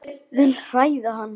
Vil hræða hann.